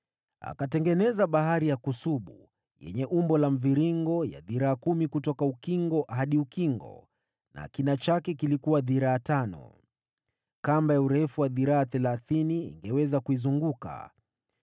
Akatengeneza Bahari ya kusubu, yenye umbo la mviringo, ya dhiraa kumi kutoka ukingo hadi ukingo na kimo cha dhiraa tano. Kamba ya urefu wa dhiraa thelathini ingeweza kuizunguka.